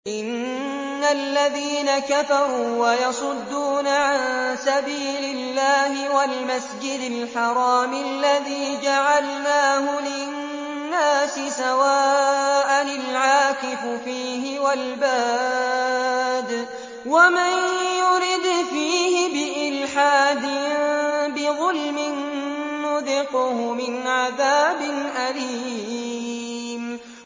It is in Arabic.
إِنَّ الَّذِينَ كَفَرُوا وَيَصُدُّونَ عَن سَبِيلِ اللَّهِ وَالْمَسْجِدِ الْحَرَامِ الَّذِي جَعَلْنَاهُ لِلنَّاسِ سَوَاءً الْعَاكِفُ فِيهِ وَالْبَادِ ۚ وَمَن يُرِدْ فِيهِ بِإِلْحَادٍ بِظُلْمٍ نُّذِقْهُ مِنْ عَذَابٍ أَلِيمٍ